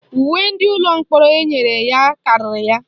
Uwe ndị ụlọ mkpọrọ enyere ya karịrị ya.